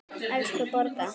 Elsku Borga!